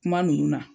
Kuma ninnu na